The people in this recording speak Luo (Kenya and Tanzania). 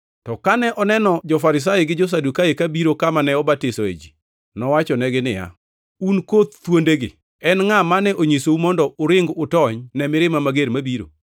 To kane oneno jo-Farisai gi jo-Sadukai ka biro kama ne obatisoe ji, nowachonegi niya, “Un koth thuondegi! En ngʼa mane onyisou mondo uring utony ne mirima mager mabiro?